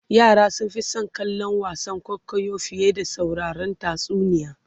yara sun Fi San kallon wasan kwaikwayo fiye da sauraron tatsuniya